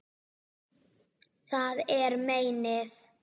Það er meinið.